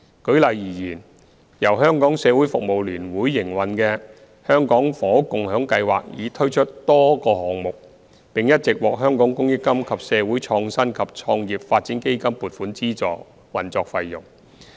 舉例而言，由香港社會服務聯會營運的"社會房屋共享計劃"已推出多個項目，並一直獲香港公益金及社會創新及創業發展基金撥款資助運作費用。